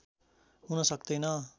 हुन सक्तैन